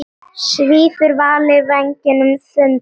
Svífur Valur vængjum þöndum?